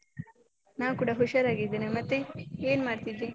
ನಾನ್ ಕೂಡ ಹುಷಾರಾಗಿದ್ದೇನೆ. ಮತ್ತೆ ಏನ್ ಮಾಡ್ತಿದ್ದಿ?